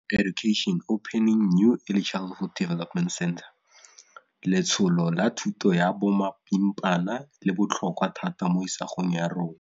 Letsholo la thuto ya bomapimpana le botlhokwa thata mo isagong ya rona.